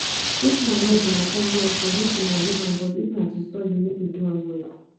if na noise una come here for make una leave but if na to study make we do am well